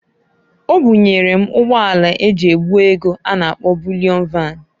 Obunyere m ụgbọ ala eji ebu ego a na -akpọ Bulịọn Van.